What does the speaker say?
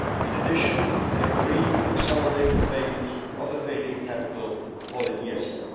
Group. In addition, they agreed to accelerate the payments of the paid in capital for the